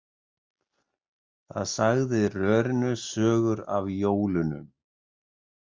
Það sagði rörinu sögur af jólunum.